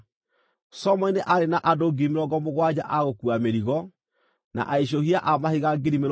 Solomoni nĩ aarĩ na andũ 70,000 a gũkuua mĩrigo, na aicũhia a mahiga 80,000 kũu irĩma-inĩ,